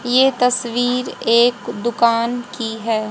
ये तस्वीर एक दुकान की हैं।